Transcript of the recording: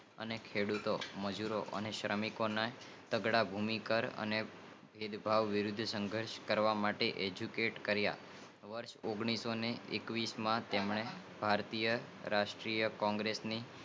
અને ખેડૂતો મજૂરો અને શ્રમિકો તગડા ભુમિકાર અને ભેદભાવ વિરુધ્ધ સંધર્ષ કરવા માટે એજ્યુકેશન કારિયા વર્ષ ઓગાણિસોએકવીસ માં તેમને ભારતીય રાષ્ટિય કોંગ્રેસ ની